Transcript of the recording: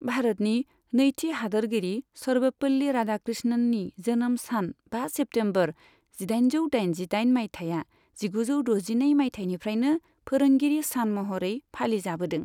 भारतनि नैथि हादोरगिरि सर्बपल्ली राधाकृष्णननि जोनोम सान बा सेप्तेम्बर जिदाइनजौ दाइनजिदाइन मायथाया जिगुजौ द'जिनै मायथायनिफ्रायनो फोरोंगीरि सान महरै फालिजाबोदों।